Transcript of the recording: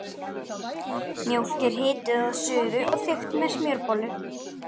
Mjólk er hituð að suðu og þykkt með smjörbollu.